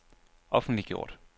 offentliggjort